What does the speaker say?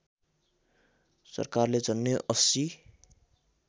सरकारले झन्डै ८०